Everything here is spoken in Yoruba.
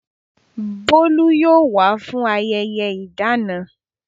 Bolu yóò wá fún ayẹyẹ ìdáná.